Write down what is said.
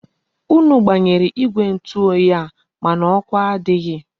Unu gbanyere igwe ntu oyi a, mana oku adighi.